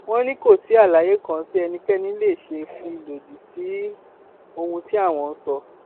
wọn ní kò sí àlàyé kan tí ẹnikẹni lè ṣe fi lòdì sí ohun tí àwọn ń sọ